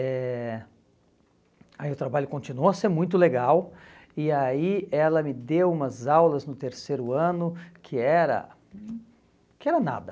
eh Aí o trabalho continuou a ser muito legal, e aí ela me deu umas aulas no terceiro ano, que era que era nada.